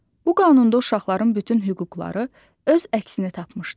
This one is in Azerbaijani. Bu qanunda uşaqların bütün hüquqları öz əksini tapmışdı.